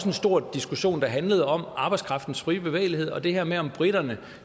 en stor diskussion der handlede om arbejdskraftens fri bevægelighed og det her med om briterne